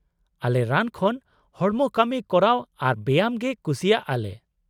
-ᱟᱞᱮ ᱨᱟᱱ ᱠᱷᱚᱱ ᱦᱚᱲᱢᱚ ᱠᱟᱢᱤ ᱠᱚᱨᱟᱣ ᱟᱨ ᱵᱮᱭᱟᱢ ᱜᱮ ᱠᱩᱥᱤᱭᱟᱜᱼᱟ ᱞᱮ ᱾